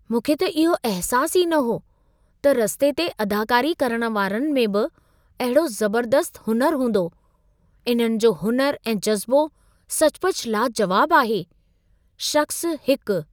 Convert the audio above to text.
मूंखे त इहो अहसासु ई न हो, त रस्ते ते अदाकारी करण वारनि में बि अहिड़ो ज़बर्दस्तु हुनुरु हूंदो। इन्हनि जो हुनुर ऐं जज़्बो सचपचु लाजवाब आहे। (शख़्सु 1)